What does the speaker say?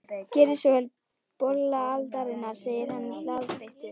Gerið svo vel, bolla aldarinnar, segir hann glaðbeittur.